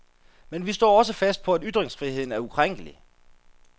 Men vi står også fast på, at ytringsfriheden er ukrænkelig.